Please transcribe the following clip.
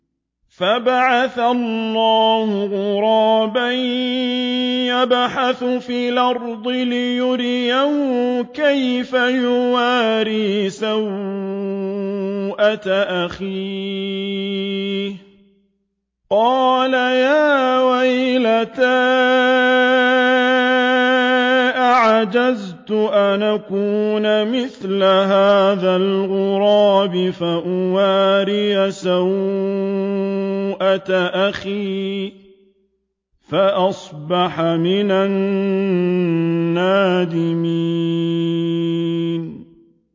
فَبَعَثَ اللَّهُ غُرَابًا يَبْحَثُ فِي الْأَرْضِ لِيُرِيَهُ كَيْفَ يُوَارِي سَوْءَةَ أَخِيهِ ۚ قَالَ يَا وَيْلَتَا أَعَجَزْتُ أَنْ أَكُونَ مِثْلَ هَٰذَا الْغُرَابِ فَأُوَارِيَ سَوْءَةَ أَخِي ۖ فَأَصْبَحَ مِنَ النَّادِمِينَ